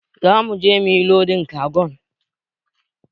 Zamu je mu yi lodin kagon.